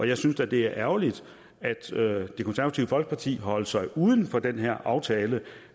jeg synes da det er ærgerligt at det konservative folkeparti holder sig uden for den her aftale